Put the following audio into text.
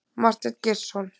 Marteinn Geirsson.